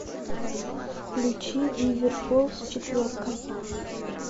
включи бивер фолс четверка